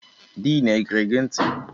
Din e gere gị ntị?